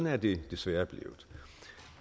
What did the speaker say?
er det desværre blevet